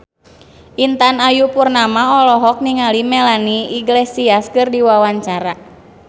Intan Ayu Purnama olohok ningali Melanie Iglesias keur diwawancara